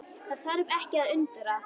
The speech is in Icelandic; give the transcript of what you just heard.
Það þarf ekki að undra.